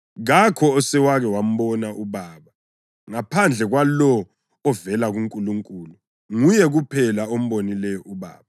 Kakho osewake wambona uBaba ngaphandle kwalowo ovela kuNkulunkulu; nguye kuphela ombonileyo uBaba.